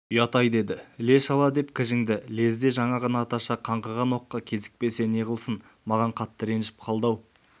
ұят-ай деді іле-шала деп кіжінді лезде жаңағы наташа қаңғыған оққа кезікпесе неғылсын маған қатты ренжіп қалды-ау